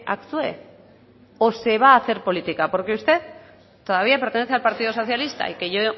actúe o se va a hacer política porque usted todavía pertenece al partido socialista y que yo